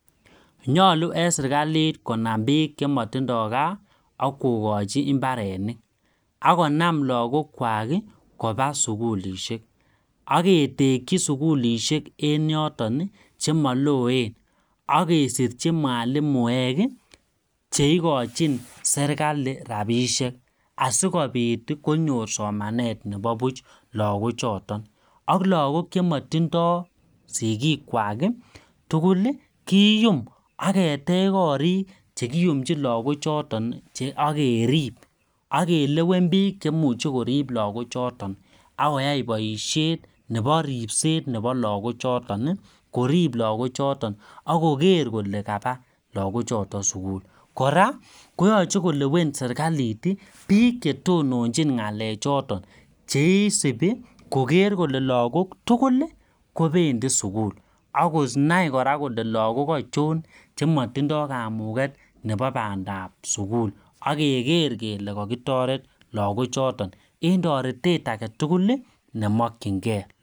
Ngalu en sirkalit konam biik chemotindoi gaa ak kokochi imbaronok akonam lagok kwak kobaa sikulishek ak ketekyi sikulishek chaloen en yotetan chemaloen akesirchi mwalimuek che igochin serikali rabishek asikopit konyor somanet nebo buch lagok choton ak lakok chemotindoi sikik kwak tugul kiyum ak ketech korik chegiyumchin lagok choton che agerib agelewen biik Che imuche korib lagok choton ak koykoai boishet nebo ribset nebo lagok choton korip lagok choton akoker kole kaba lagok choton sugul kora koyache kolewen sirkalit biik che tononchin ngalek choton cheisubi kole lagok tugul ii kopendi sugul akonai kora kole lagok achon chematindoi kamuget ab bandab sugul ak keger kele kakitoret lagok choton kopa sugulnemogkyin gee.